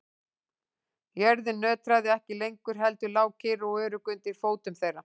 Jörðin nötraði ekki lengur heldur lá kyrr og örugg undir fótum þeirra.